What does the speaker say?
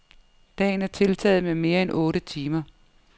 Dagen er tiltaget med mere end otte timer.